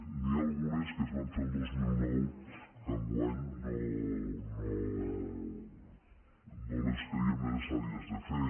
n’hi ha algunes que es van fer el dos mil nou que enguany no les creiem necessàries de fer